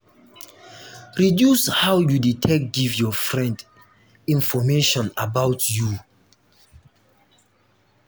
reduce how you de take give your friend information about you